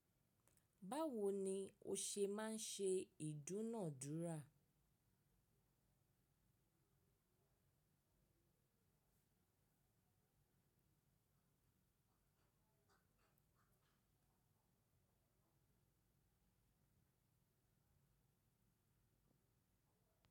Báwo ni o ṣe máa ń ṣe ìdúnàádúrà?